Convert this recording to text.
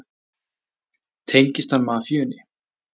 Tengist hann mafíunni?